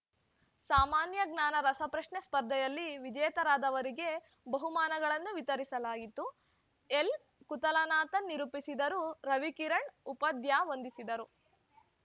ಸಾಮಾನ್ಯ ಜ್ಞಾನ ರಸಪ್ರಶ್ನೆ ಸ್ಪರ್ಧೆಯಲ್ಲಿ ವಿಜೇತರಾದವರಿಗೆ ಬಹುಮಾನಗಳನ್ನು ವಿತರಿಸಲಾಯಿತು ಎಲ್‌ಕುತಲನಾತನ್‌ ನಿರೂಪಿಸಿದರು ರವಿಕಿರಣ್‌ ಉಪಾಧ್ಯಾ ವಂದಿಸಿದರು